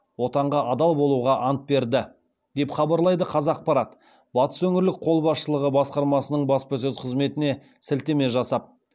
отанға адал болуға ант берді деп хабарлайды қазақпарат батыс өңірлік қолбасшылығы басқармасының баспасөз қызметіне сілтеме жасап